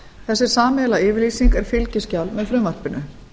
þessi sameiginlega yfirlýsing er fylgiskjal með frumvarpinu